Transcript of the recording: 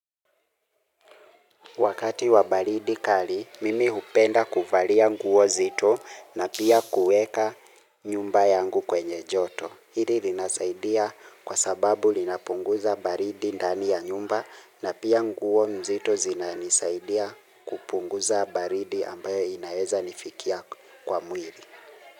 Wakati wa baridi kali, mimi hupenda kuvalia nguo nzito na pia kueka nyumba yangu kwenye joto. Hili linasaidia kwa sababu linapunguza baridi ndani ya nyumba na pia nguo nzito zinaisaidia kupunguza baridi ambayo inaweza nifikia kwa mwili.